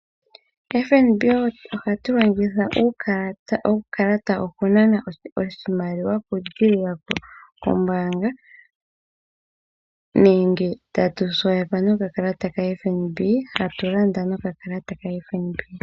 FNB ohatu longitha uukalata okunana oshimaliwa kombaanga nenge tatu longitha okakalata koFNB okulanda iilandomwa yetu.